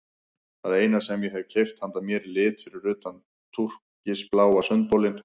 Það eina sem ég hef keypt handa mér í lit fyrir utan túrkisbláa sundbolinn.